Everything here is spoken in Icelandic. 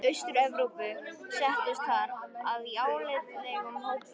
Austur-Evrópu- settust þar að í álitlegum hópum.